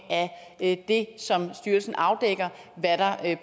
af det som styrelsen afdækker hvad der